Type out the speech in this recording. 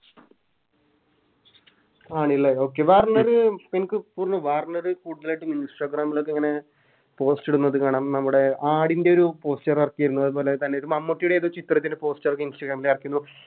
ആണ് ലെ Okay Warner എൻക്ക് തോന്നുന്നു വാർണറ് കൂടുതലായിറ്റും Instagram ലോക്കെ ഇങ്ങനെ Post ഇടുന്നത് കാണാം നമ്മുടെ ആടിൻറെ ഒരു Poster എറക്കിയിന്നു അതുപോലെ തന്നെ മമ്മൂട്ടിയുടെ ഏതോ ചിത്രത്തിൻറെ Poster എടക്ക് Instagram എറക്കിയിന്നു